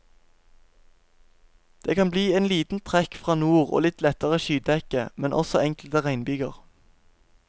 Det kan bli en liten trekk fra nord og litt lettere skydekke, men også enkelte regnbyger.